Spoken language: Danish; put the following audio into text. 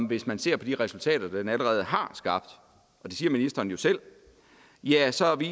hvis man ser på de resultater den allerede har skabt og det siger ministeren jo selv